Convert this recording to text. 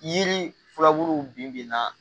Yiri filaburuw bin bi na